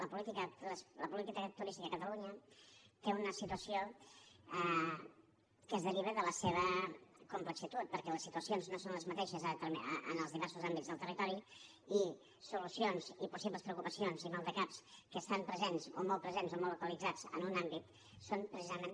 la política turística a catalunya té una situació que es deriva de la seva complexitat perquè les situacions no són les mateixes en els diversos àmbits del territori i solucions i possibles preocupacions i maldecaps que estan presents o molt presents o molt localitzats en un àmbit són precisament